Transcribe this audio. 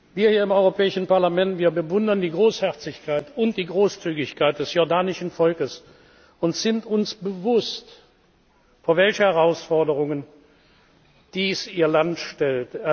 Wir hier im Europäischen Parlament bewundern die Großherzigkeit und die Großzügigkeit des jordanischen Volkes und sind uns bewusst, vor welche Herausforderungen dies Ihr Land stellt.